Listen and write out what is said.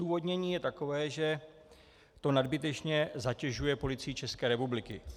Odůvodnění je takové, že to nadbytečně zatěžuje Policii České republiky.